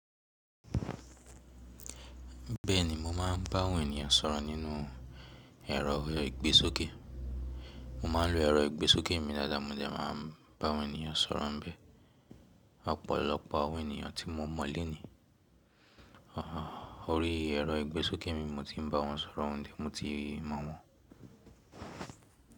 Bẹ́ẹ̀ni mo máà ń bá àwọn ènìyàn sọ̀rọ̀ nínú ẹ̀rọ ìgbésókè. Mo ma ń lo ẹ̀rọ ìgbésókè mi dáadáa mo dẹ máa ń bá àwọn ènìyàn sọ̀rọ̀ bẹ́ẹ̀. Ọ̀pọ̀lọpọ̀ àwọn ènìyàn tí mo mọ̀ le ni órí ẹ̀rọ ìgbésókè mi mo ti ń bá wọn sọ̀rọ̀ òun de mo ti mọ̀ wọ́n.